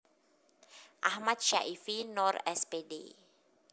Akhmad Syaifi Noer S Pd